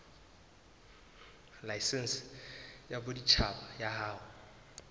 laesense ya boditjhaba ya ho